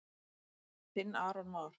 Þinn Aron Már.